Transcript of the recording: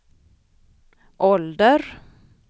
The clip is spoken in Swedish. ålder